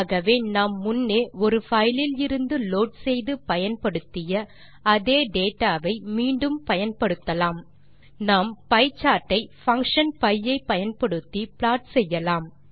ஆகவே நாம் முன்னே ஒரு பைல் இலிருந்து லோட் செய்து பயன்படுத்திய அதே டேட்டா வை மீண்டும் பயன்படுத்தலாம் நாம் பியே சார்ட் ஐ பங்ஷன் pie ஐ பயன்படுத்தி ப்ளாட் செய்யலாம்